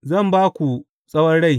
Zan ba ku tsawon rai.